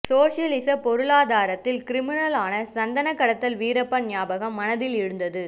சோஷலிச பொருளாதாரத்தால் கிரிமினல் ஆன சந்தன கடத்தல் வீரப்பன் ஞாபகம் மனதில் எழுந்தது